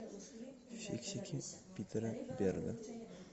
фиксики питера берга